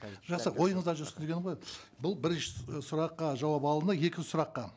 жақсы ойыңызда жүрсін дегенім ғой бұл бірінші сұраққа жауап алынды екінші сұраққа